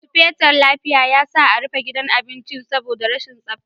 Sufeton lafiya ya sa a rufe gidan abincin saboda rashin tsafta.